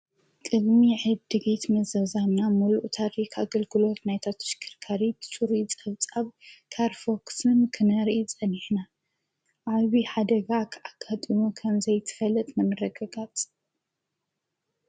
ቅድሚ ዕድጊት ምዝዛምና ምሉእ ታሪኽ ኣገልግሎት ናይታ ተሽከርካሪት ፁሩይ ፀብፀብ ካርፎክስን ክነርኢ ፀኒሕና፡፡ ዓብዬ ሓደጋ ኣጋጥሙ ኸምዘይትፈለጥ ንምርግጋፅ፣